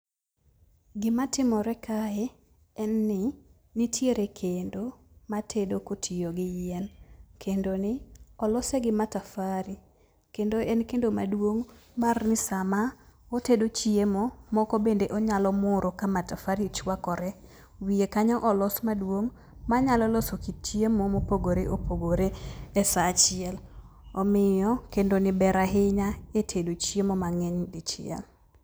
Gimatimore kae en ni nitiere kendo matedo kotiyo gi yien. Kendoni olose gi matafare, kendo en kendo maduong' mar ni sama otedo chiemo, moko bende onyalo muro ka matafare chuakore. Wiye kanyo olos maduong' manyalo loso kit chiemo mopogore opogore esaa achiel. Omiyo kendoni ber ahinya etedo chiemo mang'eny dichiel.